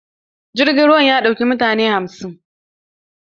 Jirgin ruwan ya ɗauki mutane hamsin.